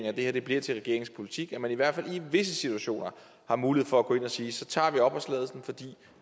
at det her bliver til regeringens politik så man i hvert fald i visse situationer har mulighed for at gå ind at sige så tager vi opholdstilladelsen fordi